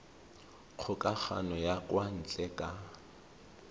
kgokagano ya kwa ntle ka